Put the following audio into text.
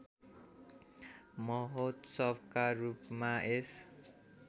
महोत्सवका रूपमा यस